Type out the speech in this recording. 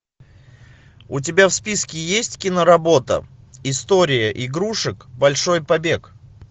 у тебя в списке есть киноработа история игрушек большой побег